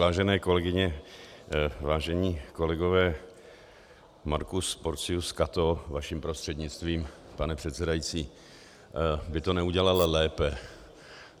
Vážené kolegyně, vážení kolegové, Marcus Porcius Cato, vaším prostřednictvím, pane předsedající, by to neudělal lépe.